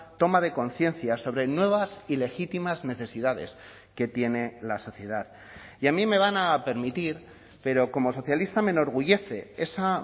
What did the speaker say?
toma de conciencia sobre nuevas y legítimas necesidades que tiene la sociedad y a mí me van a permitir pero como socialista me enorgullece esa